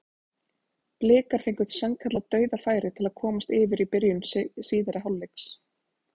Blikar fengu sannkallað dauðafæri til að komast yfir í byrjun síðari hálfleiks.